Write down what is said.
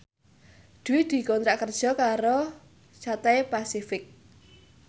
Dwi dikontrak kerja karo Cathay Pacific